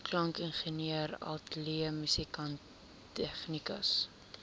klankingenieur ateljeemusikant tegnikus